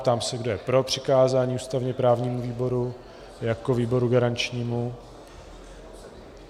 Ptám se, kdo je pro přikázání ústavně-právnímu výboru jako výboru garančnímu.